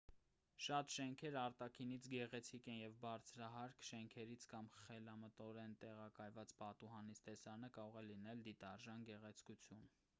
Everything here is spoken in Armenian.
շատ շենքեր արտաքինից գեղեցիկ են և բարձրահարկ շենքից կամ խելամտորեն տեղակայցված պատուհանից տեսարանը կարող է լինել դիտարժան գեղեցկություն